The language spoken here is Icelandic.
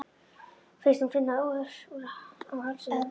Finnst hún finna ör á hálsinum.